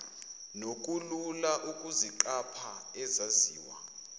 nokulula ukuziqapha ezaziwa